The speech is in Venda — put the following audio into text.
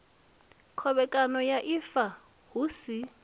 khovhekano ya ifa hu si